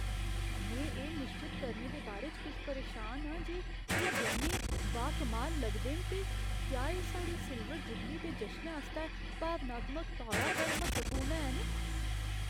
में एह् निश्चत करने दे बारे च किश परेशान आं जे एह् गैह्‌नें बाकमाल लगदे न ते क्या एह् साढ़ी सिल्वर जुबली दे जशनै आस्तै भावनात्मक तौरा पर म्हत्तवपूर्ण हैन।